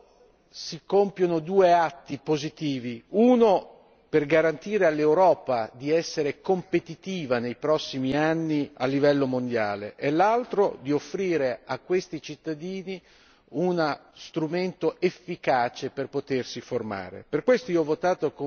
In questo modo si compiono due atti positivi uno per garantire all'Europa di essere competitiva nei prossimi anni a livello mondiale e l'altro per offrire a questi cittadini uno strumento efficace per potersi formare.